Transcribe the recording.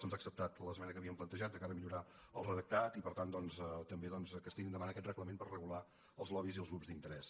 se’ns ha acceptat l’esmena que havíem plantejat de cara a millorar el redactat i per tant doncs també que es tiri endavant aquest reglament per regular els lobbys i els grups d’interès